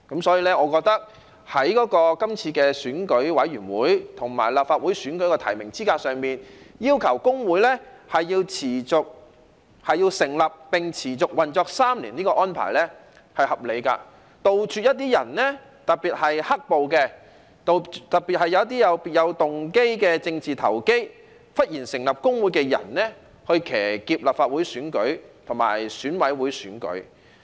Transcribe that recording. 所以，我認為今次在選委會和立法會選舉的提名資格上，要求工會成立並持續運作滿3年的安排是合理的，以杜絕一些人，特別是"黑暴"和別有動機的政治投機者忽然成立工會，以騎劫立法會選舉和選委會選舉。